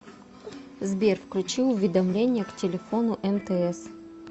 сбер включи уведомления к телефону мтс